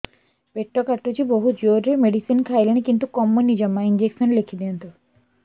ପେଟ କାଟୁଛି ବହୁତ ଜୋରରେ ମେଡିସିନ ଖାଇଲିଣି କିନ୍ତୁ କମୁନି ଜମା ଇଂଜେକସନ ଲେଖିଦିଅନ୍ତୁ